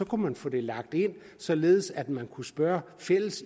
kunne man få det lagt ind således at man kunne spørge